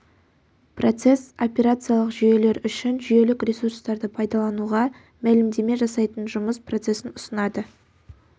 процесс операциялық жүйелер үшін жүйелік ресурстарды пайдалануға мәлімдеме жасайтын жұмыс процесін ұсынады